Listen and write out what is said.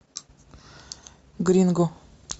гринго